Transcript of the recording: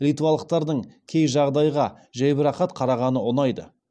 литвалықтардың кей жағдайға жәйбарақат қарағаны ұнайды